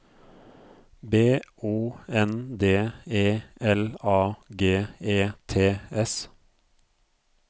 B O N D E L A G E T S